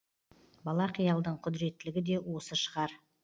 бала қиялдың құдіреттілігі де осы шығар